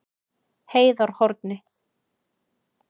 Heiðarhorni